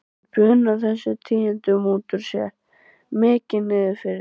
Hún bunar þessum tíðindum út úr sér, mikið niðri fyrir.